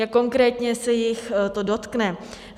Jak konkrétně se jich to dotkne?